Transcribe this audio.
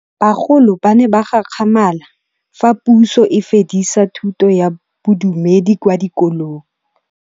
Bagolo ba ne ba gakgamala fa Pusô e fedisa thutô ya Bodumedi kwa dikolong.